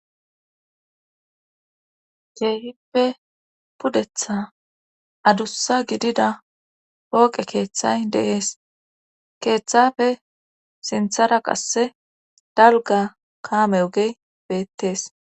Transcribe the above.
keehippe pudetha adussa gidida pooqe keeththay de7ees keeththafe sinthara qasse dalga kaame ogey beettees